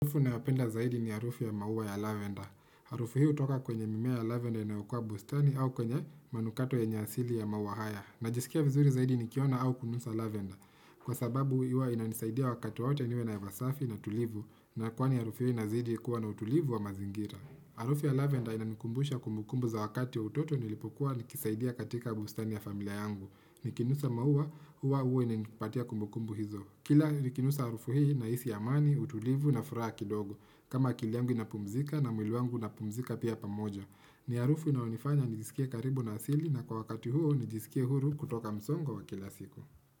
Harufu na apenda zaidi ni harufu ya mauwa ya lavender. Harufu hii utoka kwenye mimea ya lavender inaokua bustani au kwenye manukato ya nyasili ya mauwa haya. Najisikia vizuri zaidi nikiona au kununsa lavender. Kwa sababu iwa inanisaidia wakatu wate niwe na yava safi na tulivu na kwani harufu hii nazidi kuwa na utulivu wa mazingira. Harufu ya lavender inanikumbusha kumbukumbu za wakati utoto nilipokuwa nikisaidia katika bustani ya familia yangu. Nikinusa mauwa, uwa uwe nipatia kumbukumbu hizo. Kila nikinusa arufu hii nahisi amani, utulivu na furaha dogo. Kama kili yangu inapumzika na mwiliwangu inapumzika pia pamoja. Ni arufu na unifanya nijisikia karibu na asili na kwa wakati huo nijisikia huru kutoka msongo wa kila siku.